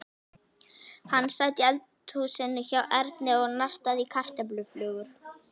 Hann sat í eldhúsinu hjá Erni og nartaði í kartöfluflögur.